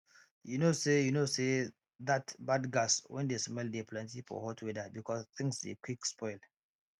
you know say you know say that bad gas wen de smell dey plenty for hot weather because things dey quick spoil